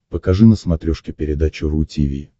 покажи на смотрешке передачу ру ти ви